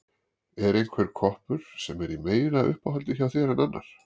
Er einhver koppur sem er í meira uppáhaldi hjá þér en annar?